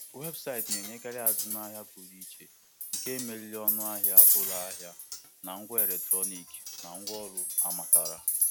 Ịtụnyere ọnụ ahịa na webụsaịtị na ngwa ndị amatara bụ ụzọ dị mma iji ibod iji ibod ahịa kacha mma.